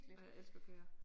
Ej jeg elsker køer